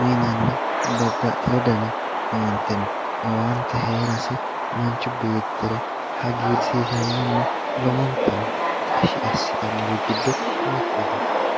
uyinnanni babbaxewo danni owaante no, owaante heerase manchi beettira hagiirsiisanonna lowontanni tashshi assittanori giddo mitete.